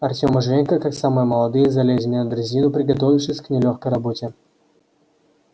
артем и женька как самые молодые залезли на дрезину приготовившись к нелёгкой работе